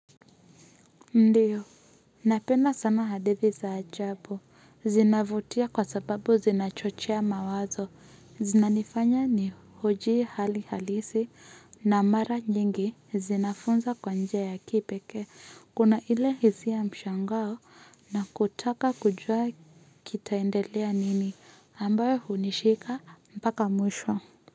Ndiyo, napenda sana hadithi za ajabu, zinavutia kwa sababu zinachochia mawazo, zinanifanya ni huji hali halisi na mara nyingi zinafunza kwa njia ya kipekee, kuna ile hisia mshangao na kutaka kujua kitaendelea nini ambao hunishika mpaka mwisho.